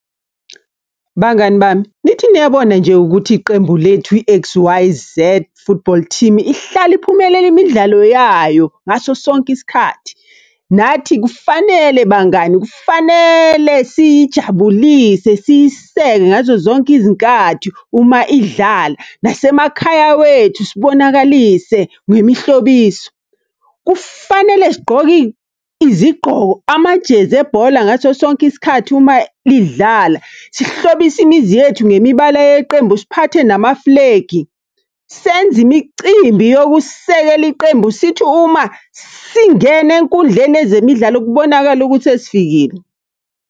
Bangani bami, nithi niyabona nje ukuthi iqembu lethu i-X_Y_Z Football Team, ihlale iphumelela imidlalo yayo ngaso sonke isikhathi. Nathi kufanele bangani, kufanele siyijabulise, siyiseke ngazo zonke izinkathi uma idlala. Nasemakhaya wethu sibonakalise ngwemihlobiso. Kufanele sigqoke izigqoko amajezi ebhola ngaso sonke isikhathi uma lidlala, sihlobise imizi yethu ngemibala yeqembu, siphathe namafulegi. Senze imicimbi yokusekela iqembu, sithi uma singena enkundleni yezemidlalo kubonakale ukuthi sesifikile.